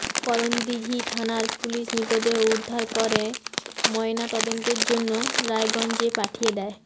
করনদীঘি থানার পুলিশ মৃতদেহ উদ্ধার করে ময়না তদন্তের জন্য রায়গঞ্জে পাঠিয়ে দেয়